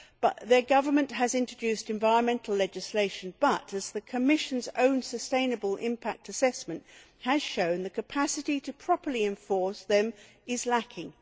The Colombian Government has introduced environmental legislation but, as the Commission's own sustainable impact assessment has shown, the capacity to properly enforce this is lacking.